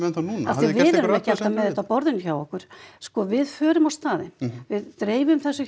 núna af því að við erum ekki alltaf með þetta á borðinu hjá okkur sko við förum á staðinn við dreifum þessum